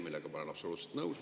Sellega ma olen absoluutselt nõus.